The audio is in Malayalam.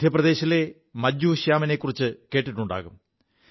മധ്യപ്രദേശിലെ മജ്ജൂ ശ്യാമിനെക്കുറിച്ചു കേിുണ്ടാകും